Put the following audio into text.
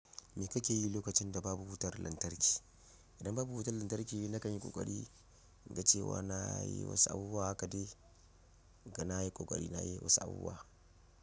Me kake yi lokacin da babu wutar lantarki? Idan babu wutar lantarki, na kan yi ƙoƙari, in ga cewa na yi wasu abubuwa haka dai, ga na yi ƙoƙari na yi wasu abubuwa.